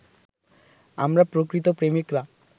আমরা প্রকৃত প্রেমিকরা